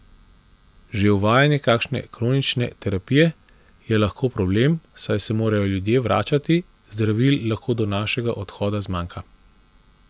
Že uvajanje kakšne kronične terapije je lahko problem, saj se morajo ljudje vračati, zdravil lahko do našega odhoda zmanjka ...